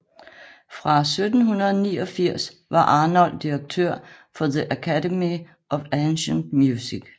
Fra 1789 var Arnold direktør for The Academy of Ancient Music